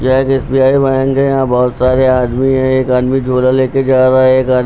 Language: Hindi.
यह एक एस_बी_आई बैंक है यहां बहोत सारे आदमी है एक आदमी झोला लेकर जा रहा है एक आद--